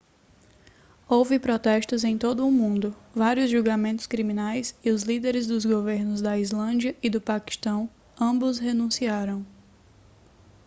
houve protestos em todo o mundo vários julgamentos criminais e os líderes dos governos da islândia e do paquistão ambos renunciaram